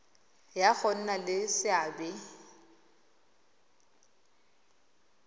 ya go nna le seabe